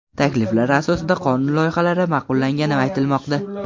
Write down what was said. Takliflar asosida qonun loyihalari ma’qullangani aytilmoqda.